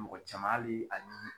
Mɔgɔ caman alii ani